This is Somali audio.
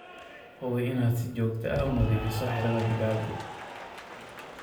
Hubi inaad si joogto ah u nadiifiso xiradha digaagu.